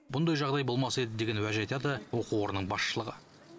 мұндай жағдай болмас еді деген уәж айтады оқу орнының басшылығы